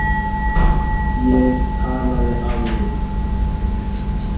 Ég talaði af mér.